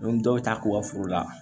dɔw bɛ taa k'u ka foro la